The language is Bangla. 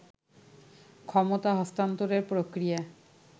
ক্ষমতা হস্তান্তরের প্রক্রিয়া